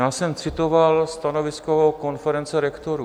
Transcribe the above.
Já jsem citoval stanovisko konference rektorů.